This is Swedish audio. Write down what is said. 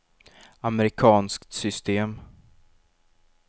amerikanskt system